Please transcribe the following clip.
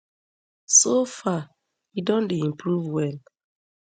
so far e don dey improve well